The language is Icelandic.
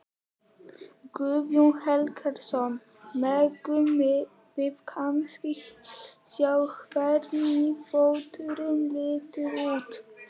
Guðjón Helgason: Megum við kannski sjá hvernig fóturinn lítur út?